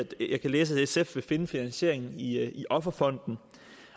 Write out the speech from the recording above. jeg kan læse at sf vil finde finansieringen i i offerfonden